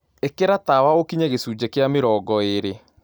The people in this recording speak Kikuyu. Ikĩra tawaũkĩnye gĩcũnjĩ gia mĩrongoĩrĩ